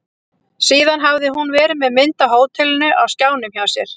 Síðan hafði hún verið með mynd af hótelinu á skjánum hjá sér.